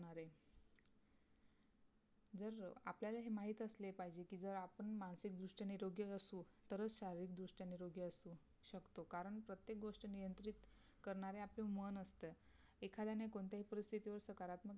जर आपल्याला हे माहित असले पाहिजे कि जर आपण मानसिक दृष्ट्या निरोगी असू तरच शारीरिक दृष्ट्या निरोगी असू शकतो कारण प्रत्येक गोष्ट नियंत्रित करणार आपलं मन असतं एखाद्याने कोणत्याही परिस्थितीत सकारात्मक